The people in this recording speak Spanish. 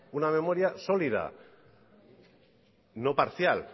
una memoria sólida no parcial